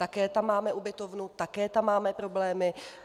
Také tam máme ubytovnu, také tam máme problémy.